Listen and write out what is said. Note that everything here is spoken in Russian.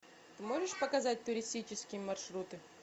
можешь показать туристические маршруты